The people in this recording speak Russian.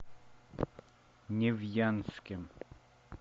невьянске